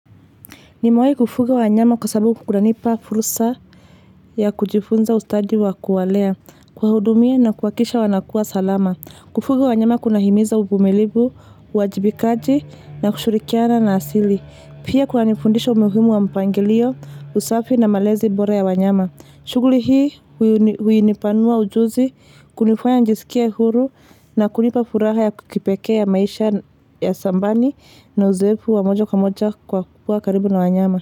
Nimewahi kufuga wanyama kwa sababu kunanipa fursa ya kujifunza ustadi wa kuwalea, kuwahudumia na kuhakikisha wanakua salama. Kufuga wanyama kuna himiza uvumilivu, uwajibikaji na kushirikiana na asili. Pia kunanifundisha umuhimu wa mpangilio, usafi na malezi bora ya wanyama. Shughuli hii huinipanua ujuzi, kunifanya nijisikie huru na kunipa furaha ya kipekee ya maisha ya shambani na uzoefu wa moja kwa moja kwa kuwa karibu na wanyama.